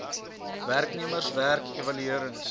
werknemers werk evaluerings